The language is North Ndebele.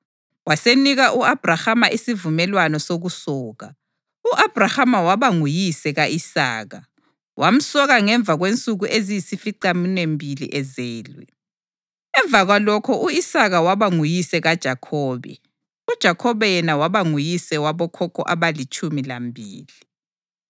Wasenika u-Abhrahama isivumelwano sokusoka. U-Abhrahama waba nguyise ka-Isaka, wamsoka ngemva kwensuku eziyisificaminwembili ezelwe. Ngemva kwalokho u-Isaka waba nguyise kaJakhobe, uJakhobe yena waba nguyise wabokhokho abalitshumi lambili.